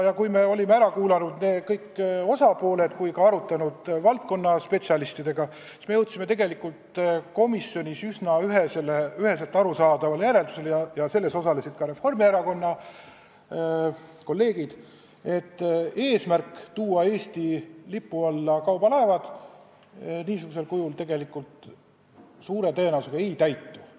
Kui me olime ära kuulanud kõik osapooled ja ka arutanud valdkonna spetsialistidega, siis me jõudsime komisjonis üsna üheselt arusaadavale järeldusele – ja selles arutelus osalesid ka Reformierakonna kolleegid –, et eesmärk tuua kaubalaevad Eesti lipu alla suure tõenäosusega ei täitu, kui eelnõu ei muutu.